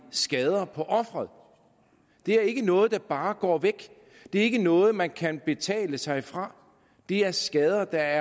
skader på offeret det er ikke noget der bare går væk det er ikke noget man kan betale sig fra det er skader der